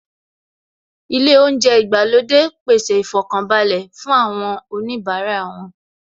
Ilé oúnjẹ ìgbàlódé pèsè ìfọkànbalẹ̀ fún oníbara wọn